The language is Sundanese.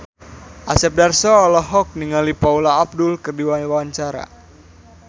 Asep Darso olohok ningali Paula Abdul keur diwawancara